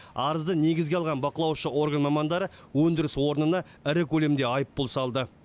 арызды негізге алған бақылаушы орган мамандары өндіріс орнына ірі көлемде айыппұл салды